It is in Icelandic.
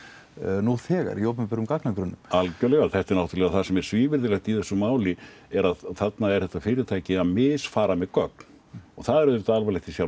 nú þegar í opinberum gagnagrunnum algjörlega þetta er það sem er svívirðilegt í þessu máli þarna er þetta fyrirtæki að misfara með gögn það er auðvitað alvarlegt í sjálfu